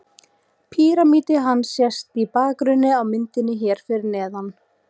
Píramídi hans sést í bakgrunni á myndinni hér fyrir neðan.